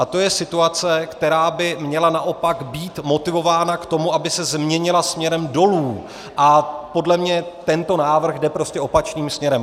A to je situace, která by měla naopak být motivována k tomu, aby se změnila směrem dolů, a podle mě tento návrh jde prostě opačným směrem.